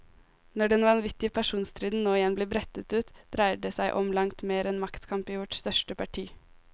Når den vanvittige personstriden nå igjen blir brettet ut, dreier det som om langt mer enn maktkamp i vårt største parti.